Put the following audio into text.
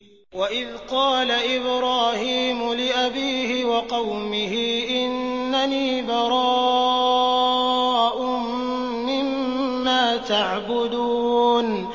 وَإِذْ قَالَ إِبْرَاهِيمُ لِأَبِيهِ وَقَوْمِهِ إِنَّنِي بَرَاءٌ مِّمَّا تَعْبُدُونَ